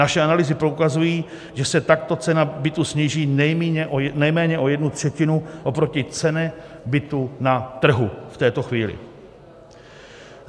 Naše analýzy poukazují, že se takto cena bytu sníží nejméně o jednu třetinu oproti ceně bytu na trhu v této chvíli.